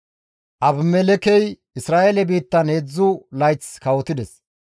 Abimelekkey Isra7eele biittan 3 layth kawotides.